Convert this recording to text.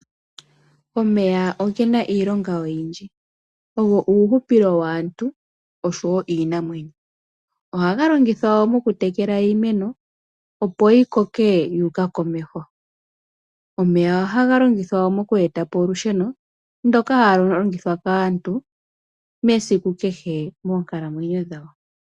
Omeya ogena iilonga oyindji, ogo uuhupilo waantu osho wo wiinamwenyo. Ohaga longithwa wo moku tekela iimeno, opo yi koke yuuka komeho. Omeya ohaga longithwa wo moku etapo olusheno ndoka halu longithwa kaantu mesiku kehe moonkalamwenyo dhawo.